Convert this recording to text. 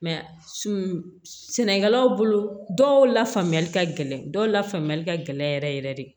sɛnɛkɛlaw bolo dɔw la faamuyali ka gɛlɛn dɔw la faamuyali ka gɛlɛn yɛrɛ yɛrɛ yɛrɛ de